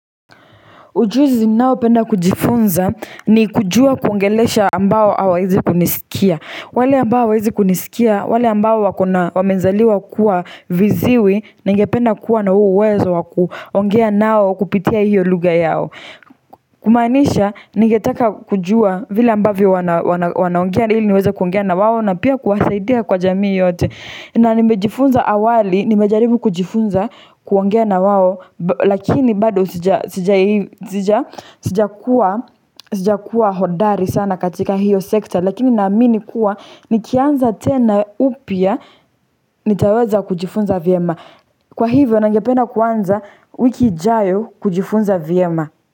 Ujuzi ninaopenda kujifunza ni kujua kuongelesha ambao hawawezi kunisikia. Wale ambao hawawezi kunisikia, wale ambao wako na wamezaliwa kuwa viziwi, ningependa kuwa na huo uwezo wa kuongea nao kupitia hiyo lugha yao Kumaanisha, ningetaka kujua vile ambavyo wanaongea ili niweze kuongea na wao na pia kuwasaidia kwa jamii yote. Na nimejifunza awali, nimejaribu kujifunza kuongea na wao Lakini bado sijakuwa sijakuwa hodari sana katika hiyo sekta. Lakini naamini kuwa nikianza tena upya nitaweza kujifunza vyema. Kwa hivyo ningependa kuanza wiki ijayo kujifunza vyema.